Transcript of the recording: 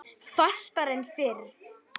Fastar en fyrr.